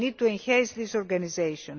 we need to enhance this organisation.